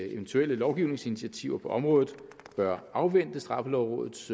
eventuelle lovgivningsinitiativer på området bør afvente straffelovrådets